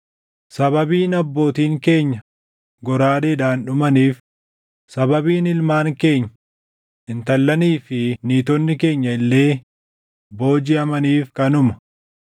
Sababiin abbootiin keenya goraadeedhaan dhumaniif, sababiin ilmaan keenya, intallanii fi niitonni keenya illee boojiʼamaniif kanuma.